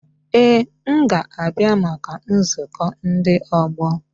Ee m ga-abịa maka nzukọ ndi ọgbọ